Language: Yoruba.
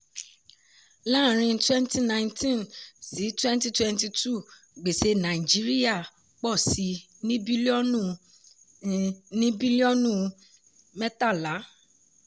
láàárin twenty nineteen – twenty twenty two gbèsè nàìjíríà pọ sí i ní bílíọ̀nù i ní bílíọ̀nù mẹ́tàlá.